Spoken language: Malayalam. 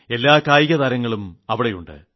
എല്ലാ കായിക താരങ്ങളും അവിടെയുണ്ട്